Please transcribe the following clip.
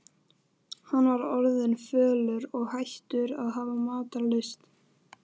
Hann var orðinn fölur og hættur að hafa matarlyst.